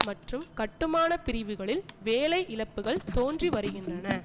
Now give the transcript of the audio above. மற்றும் கட்டுமான பிரிவுகளில் வேலை இழப்புக்கள் தோன்றிவருகின்றன